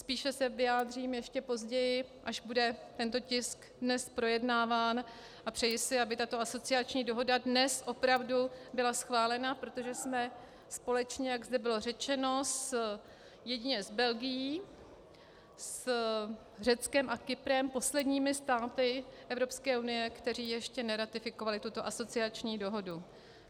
Spíše se vyjádřím ještě později, až bude tento tisk dnes projednáván, a přeji si, aby tato asociační dohoda dnes opravdu byla schválena, protože jsme společně, jak zde bylo řečeno, jedině s Belgií, s Řeckem a Kyprem posledními státy Evropské unie, které ještě neratifikovaly tuto asociační dohodu.